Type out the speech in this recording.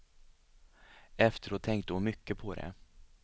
Efteråt tänkte hon mycket på det.